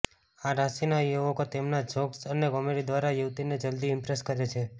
આ રાશિના યુવકો તેમના જોક્સ અને કોમેડી દ્વારા યુવતીને જલદી ઇમ્પ્રેસ કરે છે